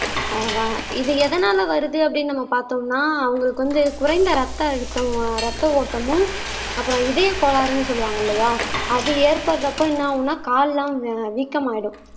இது எதனால வருது அப்படீன்னு நம்ம பார்த்தோம்னா அவங்களுக்கு வந்து குறைந்த இரத்த அழுத்தம் ரத்த ஓட்டமும் அப்புறம் இதய கோளாறுன்னு சொல்லுவாங்க இல்லையா அது ஏற்படுறப்ப என்ன ஆகும்னா கால் எல்லாம் வீக்கம் ஆயிடும்